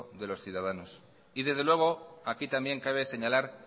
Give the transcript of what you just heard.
de los ciudadanos y desde luego aquí también cabe señalar